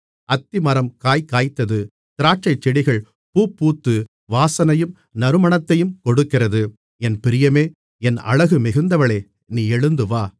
அத்திமரம் காய்காய்த்தது திராட்சைக்கொடிகள் பூப்பூத்து வாசனையும் நறுமணத்தையும் கொடுக்கிறது என் பிரியமே என் அழகு மிகுந்தவளே நீ எழுந்து வா